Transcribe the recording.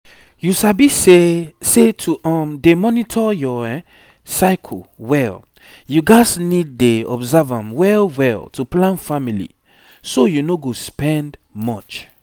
you sabi say say to um dey monitor your cycle well you gats need dey observe am well well to plan family so you no go spend much